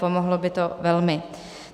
Pomohlo by to velmi.